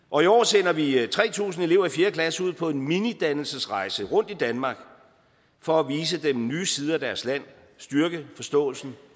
og i år sender vi tre tusind elever i fjerde klasse ud på en minidannelsesrejse rundt i danmark for at vise dem nye sider af deres land og styrke forståelsen